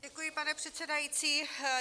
Děkuji, pane předsedající.